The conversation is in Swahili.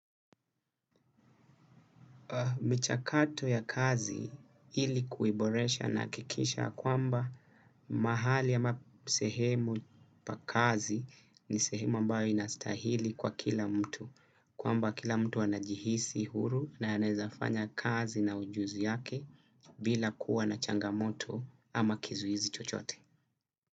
Michakato ya kazi ili kuiboresha naakikisha kwamba mahali ama sehemu pa kazi ni sehemu ambayo inastahili kwa kila mtu. Kwamba kila mtu anajihisi huru na anaezafanya kazi na ujuzi yake bila kuwa na changamoto ama kizuizi chochote.